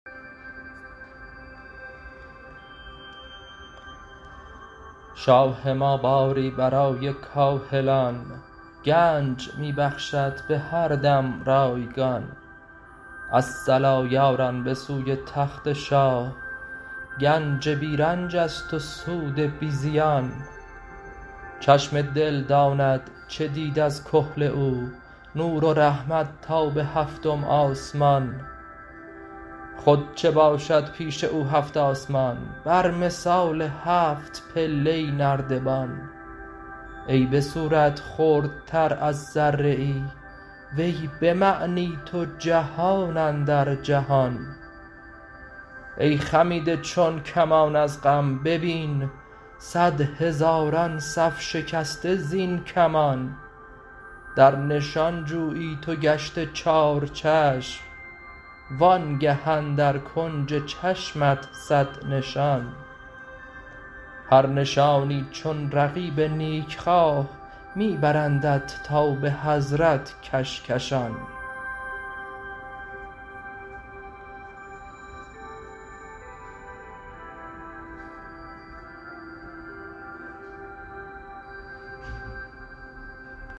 شاه ما باری برای کاهلان گنج می بخشد به هر دم رایگان الصلا یاران به سوی تخت شاه گنج بی رنج است و سود بی زیان چشم دل داند چه دید از کحل او نور و رحمت تا به هفتم آسمان خود چه باشد پیش او هفت آسمان بر مثال هفت پایه نردبان ای به صورت خردتر از ذره ای وی به معنی تو جهان اندر جهان ای خمیده چون کمان از غم ببین صد هزاران صف شکسته زین کمان در نشان جویی تو گشته چارچشم وآنگه اندر کنج چشمت صد نشان هر نشانی چون رقیب نیکخواه می برندت تا به حضرت کشکشان